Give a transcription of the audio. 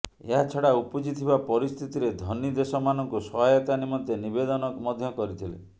ଏହା ଛଡା ଉପୁଜିଥିବା ପରିସ୍ଥିତିରେ ଧନୀ ଦେଶମାନଙ୍କୁ ସହାୟତା ନିମନ୍ତେ ନିବେଦନ ମଧ୍ୟ କରିଥିଲେ